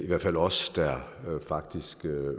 hvert fald os der faktisk